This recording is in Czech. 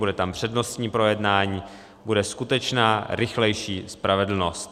Bude tam přednostní projednání, bude skutečná rychlejší spravedlnost.